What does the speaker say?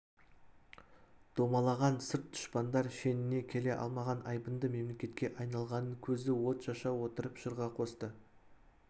домалаған сырт дұшпандар шеніне келе алмаған айбынды мемлекетке айналғанын көзі от шаша отырып жырға қосты